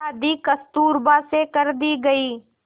शादी कस्तूरबा से कर दी गई